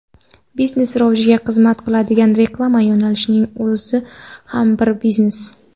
Biznes rivojiga xizmat qiladigan reklama yo‘nalishining o‘zi ham bir biznes.